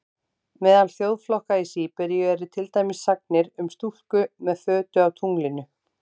Meðal þjóðflokka í Síberíu eru til dæmis sagnir um stúlku með fötu á tunglinu.